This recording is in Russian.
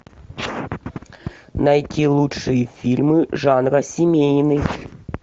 найти лучшие фильмы жанра семейный